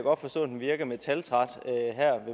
herre